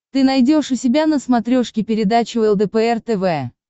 ты найдешь у себя на смотрешке передачу лдпр тв